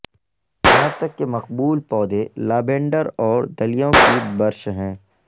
یہاں تک کہ مقبول پودے لابینڈر اور دلیوں کی برش ہیں